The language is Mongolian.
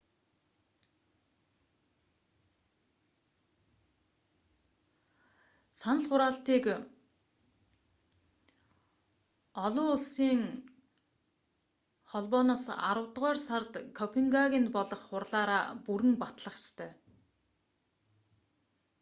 санал хураалтыг оуох аравдугаар сард копенгагенд болох хурлаараа бүрэн батлах ёстой